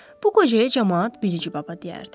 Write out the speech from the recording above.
Bu qocaya camaat bilici baba deyərdi.